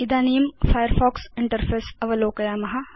इदानीं Firefox interface अवलोकयाम